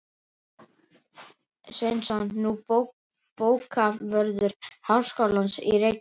Sveinsson, nú bókavörður háskólans í Reykjavík.